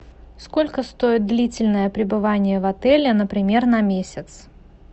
сколько стоит длительное пребывание в отеле например на месяц